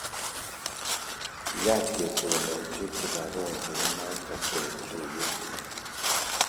kiyaach ketononchi kibagengeinata eng tuiyet